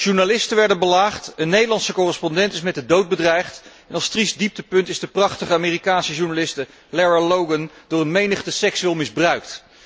Journalisten werden belaagd, een Nederlandse correspondent is met de dood bedreigd en als triest dieptepunt is de prachtige Amerikaanse journaliste Lara Logan door een menigte seksueel misbruikt.